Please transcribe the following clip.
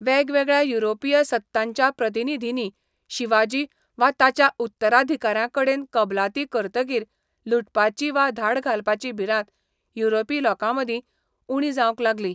वेगवेगळ्या युरोपीय सत्तांच्या प्रतिनिधींनी शिवाजी वा ताच्या उत्तराधिकाऱ्यांकडेन कबलाती करतकीर, लुटपाची वा धाड घालपाची भिरांत युरोपी लोकांमदीं उणी जावंक लागली.